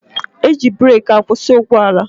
E ji breeki akwụsị ụgbọala